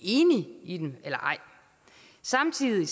enige i dem eller ej samtidig